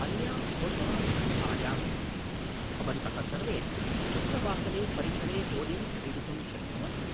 अन्यां घोषणां प्रति आयामि, भवन्तः सर्वे शुक्रवासरे परिसरे होलीं क्रीडितुं शक्नुवन्ति।